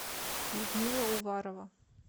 людмила уварова